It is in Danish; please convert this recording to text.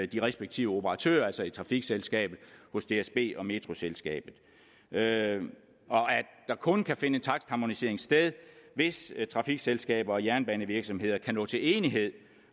de respektive operatører altså i trafikselskabet hos dsb og metroselskabet og at der kun kan finde takstharmonisering sted hvis trafikselskaber og jernbanevirksomheder kan nå til enighed